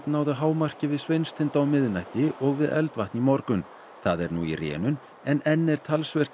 náði hámarki við Sveinstind á miðnætti og við Eldvatn í morgun það er nú í rénun en enn er talsvert